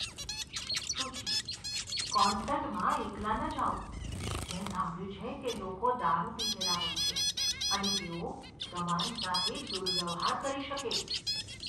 સુચી. કોન્સર્ટમાં એકલા ન જાઓ. મેં સાંભળ્યું છે કે લોકો દારૂ પીધેલા હોય છે અને તેઓ તમારી સાથે દુર્વ્યવહાર કરી શકે.